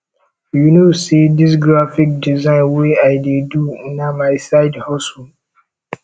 you know sey dis graphic design wey i dey do na my my side hustle